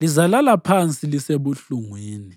Lizalala phansi lisebuhlungwini.